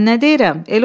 Bəs mən nə deyirəm?